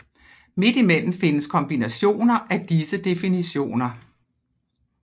Midt imellem findes kombinationer af disse definitioner